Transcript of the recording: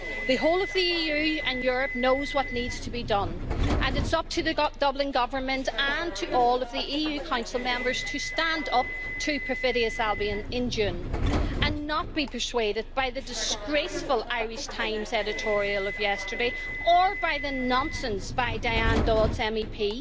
The whole of the EU and Europe knows what needs to be done, and it is up to the Dublin government and to all of the EU Council Member to stand up to perfidious Albion in June and not to be persuaded by the disgraceful Irish Times editorial of yesterday, or by the nonsense by Diane Dodds MEP.